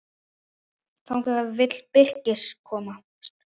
Þangað vill Birkir komast.